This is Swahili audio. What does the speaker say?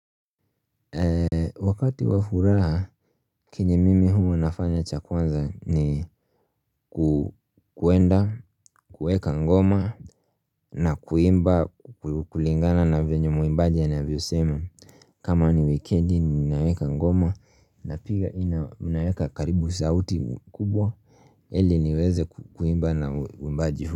Wakati wa furaha Kenye mimi hua nafanya cha kwanza ni kuenda kuweka ngoma na kuimba kulingana na venye mwimbaji anavyosema kama ni wikendi ninaweka ngoma na pika ninaweka karibu sauti kubwa ili niweze kuimba na mwimbaji huo.